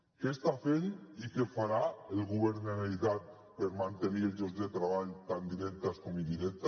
què està fent i què farà el govern de la generalitat per mantenir els llocs de treball tant directes com indirectes